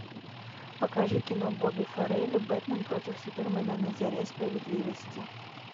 покажи кино бобби фаррелли бэтмен против супермена на заре справедливости